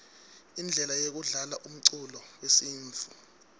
indlele yekudlalaumculo wesintfu